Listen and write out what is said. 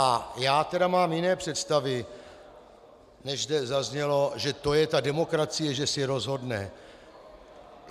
A já tedy mám jiné představy, než zde zaznělo, že to je ta demokracie, že si rozhodne.